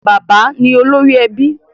Bàbá ni olórí ẹbí.